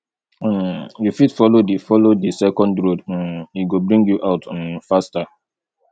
um you fit follow di follow di second road um e go bring you out um faster